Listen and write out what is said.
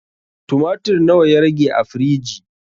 Tumatir na wa ya rage a firiji?